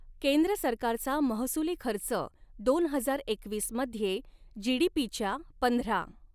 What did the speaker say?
केंद्र सरकारचा महसुली खर्च दोन हजार एकवीस मध्ये जीडीपीच्या पंधरा.